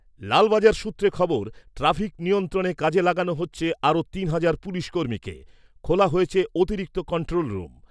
লালবাজার সূত্রে খবর, ট্রাফিক নিয়ন্ত্রণে কাজে লাগানো হচ্ছে আরও তিন হাজার পুলিশকর্মীকে, খোলা হয়েছে অতিরিক্ত কন্ট্রোল রুম।